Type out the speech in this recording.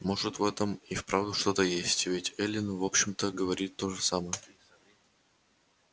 может в этом и вправду что-то есть ведь эллин в общем-то говорит то же самое